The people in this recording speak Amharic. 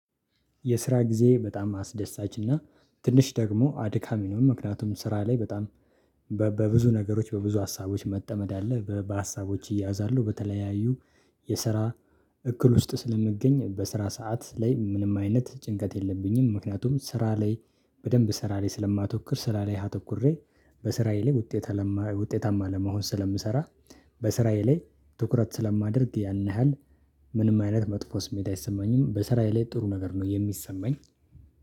የስራ ጊዜ በጣም አስደሳችና ትንሽ ደግሞ አድካሚ ነው። ምክንያቱም ስራ ላይ በጣም በብዙ ነገሮች በብዙ ሀሳቦች መጠመድ አለ በሀሳቦች እያዛለሁ በተለያዩ የስራ እክል ውስጥ ስለምገኝ በስራ ሰዓት ላይ ምንም አይነት ጭንቀት የለብኝም። ምክንያቱም ስራ ላይ በደንብ ስራ ላይ ስለማተኩር ስራ ላይ አተኩሬ በስራዬ ላይ ውጤታማ ለመሆን ስለምሰራ በስራዬ ላይ ትኩረት ስለማደርግ ያን ያህል ምንም አይነት መጥፎ ስሜት አይሰማኝም በስራዬ ላይ ጥሩ ነገር ነው የሚሰማኝ